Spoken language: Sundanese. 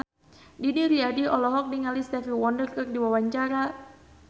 Didi Riyadi olohok ningali Stevie Wonder keur diwawancara